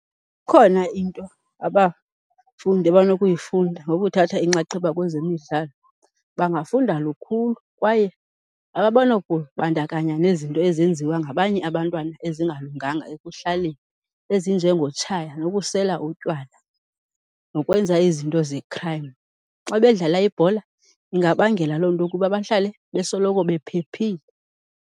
Ikhona into abafundi abanokuyifunda ngokuthatha inxaxheba kwezemidlalo. Bangafunda lukhulu kwaye abanokubandakanya nezinto ezenziwa ngabanye abantwana ezingalunganga ekuhlaleni ezinjengotshaya nokusela utywala, nokwenza izinto ze-crime. Xa bedlala ibhola ingabangela loo nto ukuba bahlale besoloko bephephile.